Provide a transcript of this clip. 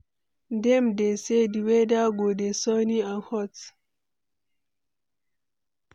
Dem dey say, di weather go dey sunny and hot.